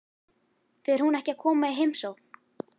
Fer hún ekki að koma í heimsókn?